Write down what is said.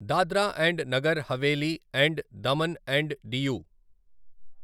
Dadra and Nagar Haveli and Daman and DU